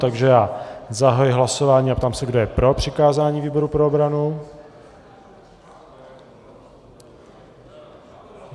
Takže já zahajuji hlasování a ptám se, kdo je pro přikázání výboru pro obranu.